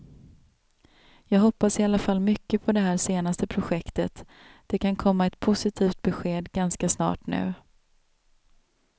Jag hoppas i alla fall mycket på det här senaste projektet, det kan komma ett positivt besked ganska snart nu.